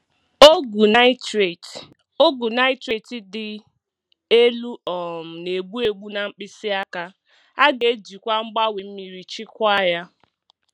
Ogo nitrate Ogo nitrate dị elu um na-egbu egbu na mkpịsị aka, a ga-ejikwa mgbanwe mmiri chịkwaa ya.